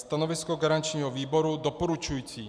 Stanovisko garančního výboru - doporučující.